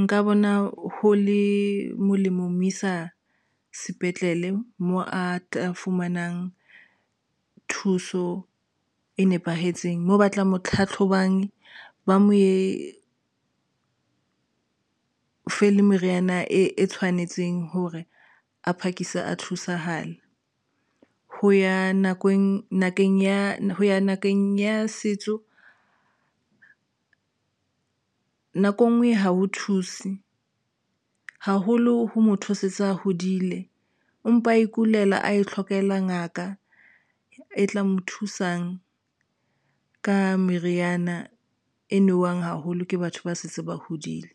nka bona ho le molemo ho mo isa sepetlele moo a tla fumanang thuso e nepahetseng moo batlang ho tlhatlhobang ba mo fe le meriana e tshwanetseng hore a phakise a thusahale ho ya nakong ho ya ngakeng ya setso nako engwe ha ho thuse haholo ho motho a setse a hodile empa a ikulela a ihlokela ngaka e tla mo thusang ka meriana e nowang haholo ke batho ba se ba hodile.